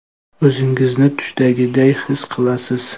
O‘zingizni tushdagiday his qilasiz.